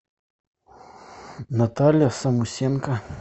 наталья самусенко